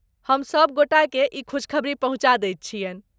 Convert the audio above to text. हम सभ गोटाके ई खुशखबरी पहुँचा दैत छियन्हि।